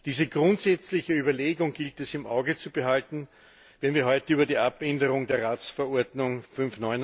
Diese grundsätzliche Überlegung gilt es im Auge zu behalten, wenn wir heute über die Abänderung der Ratsverordnung Nr.